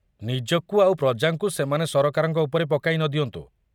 ନିଜକୁ ଆଉ ପ୍ରଜାଙ୍କୁ ସେମାନେ ସରକାରଙ୍କ ଉପରେ ପକାଇ ନଦିଅନ୍ତୁ।